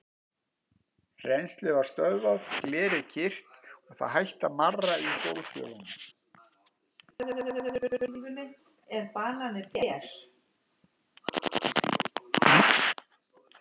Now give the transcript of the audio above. Rennslið var stöðvað, glerið var kyrrt, það hætti að marra í gólffjölunum.